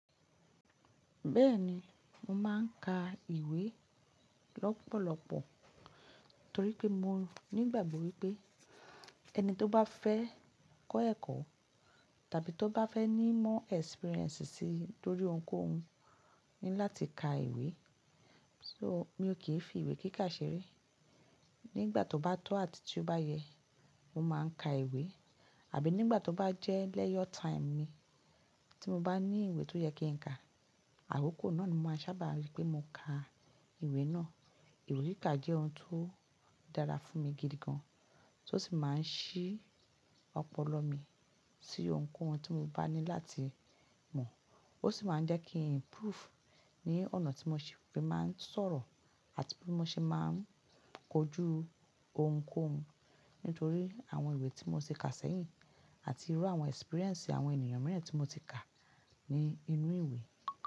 Bẹ́ẹ̀ni, mo máa ń ka ìwé lọ́pọ̀lọpọ̀ torí pé mo nígbàgbọ́ wípé ẹni tó bá fẹ́ kọ́ ẹ̀kọ́ tàbí tó bá fẹ́ ní more experience sí lorí ohunkóhun ní láti ka ìwé, so mi ò kí ń fi ìwé kíka ṣeré. Nígbà tó bá tó àti tí ó bá yẹ, mo máa ń ka ìwé àbí nígbà tó bá jẹ́ leisure time mi tí mo bá ní ìwé tó yẹ kí n ka, àkokò náà ni mo máa sábà rí pé mo ka ìwé náà. Ìwé kíkà jẹ́ ohun tó dára fún mi gidi gan, tó sì máa ń ṣí ọpọlọ mi sí ohunkóhun tí mo bá ní láti mọ̀. Ó sì máa ń jẹ́ kí n improve ní ọ̀nà tí mo ṣe fi máa ń sọ̀rọ̀ àti bí mo ṣe máa ń kojú ohunkóhun nítorí àwọn ìwé tí mo ti kà sẹ́yìn àti irú àwọn experience àwọn ènìyàn mìíràn tí mo ti kà ní inú ìwé.